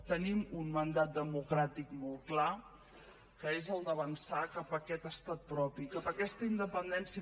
tenim un mandat democràtic molt clar que és el d’avançar cap a aquest estat propi cap a aquesta independència